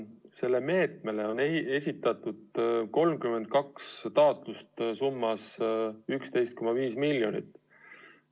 Sellest meetmest osa saamiseks on esitatud 32 taotlust, nende summa on kokku 11,5 miljonit eurot.